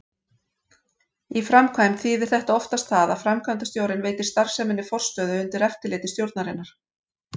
Í framkvæmd þýðir þetta oftast það að framkvæmdastjórinn veitir starfseminni forstöðu undir eftirliti stjórnarinnar.